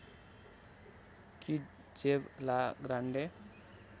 कि जेव ला ग्रान्डे